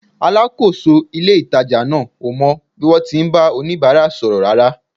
Alákòóso ilé-ìtàjà náà ò mọ bí wọ́n ti ń bá oníbàárà sọ̀rọ̀ rárá